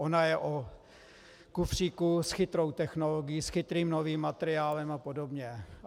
Ona je o kufříku s chytrou technologií, s chytrým novým materiálem a podobně.